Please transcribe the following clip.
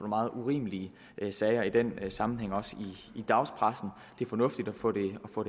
meget urimelige sager i den sammenhæng også i dagspressen det er fornuftigt at få det